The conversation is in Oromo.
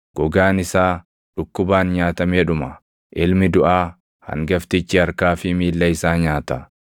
Gogaan isaa dhukkubaan nyaatamee dhuma; ilmi duʼaa hangaftichi harkaa fi miilla isaa nyaata.